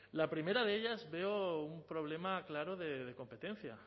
la primera de ellas veo un problema claro de competencia